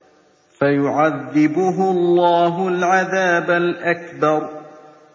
فَيُعَذِّبُهُ اللَّهُ الْعَذَابَ الْأَكْبَرَ